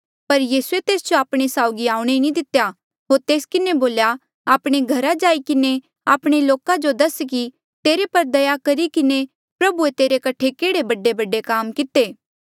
पर यीसूए तेस जो आपणे साउगी आऊणें नी दितेया होर तेस किन्हें बोल्या आपणे घरा जाई किन्हें आपणे लोका जो दस कि तेरे पर दया करी किन्हें प्रभुए तेरे कठे केहड़े बडेबडे काम किते